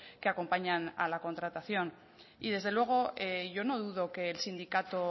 que acompañan a la contratación y desde luego yo no dudo que el sindicato